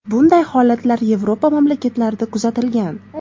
Bunday holatlar Yevropa mamlakatlarida kuzatilgan.